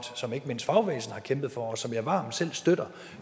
som ikke mindst fagbevægelsen har kæmpet for og som jeg varmt selv støtter